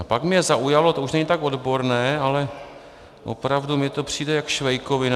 A pak mě zaujalo, to už není tak odborné, ale opravdu mně to přijde jako švejkovina...